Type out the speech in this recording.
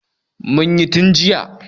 Mun yi tun jiya.